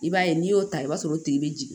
I b'a ye n'i y'o ta i b'a sɔrɔ o tigi be jigin